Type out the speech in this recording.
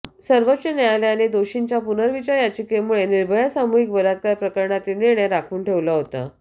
सर्वोच्च न्यायालयाने दोषींच्या पुनर्विचार याचिकेमुळे निर्भया सामूहिक बलात्कार प्रकरणातील निर्णय राखून ठेवला होता